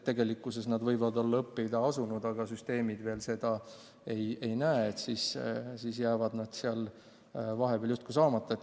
Tegelikkuses võivad õpilased olla õppima asunud, aga süsteem seda veel ei näe, seetõttu jääb hüvitis vahepeal justkui saamata.